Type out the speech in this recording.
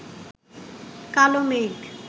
কালো মেঘ